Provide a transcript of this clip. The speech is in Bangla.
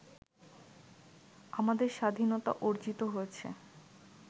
আমাদের স্বাধীনতা অর্জিত হয়েছে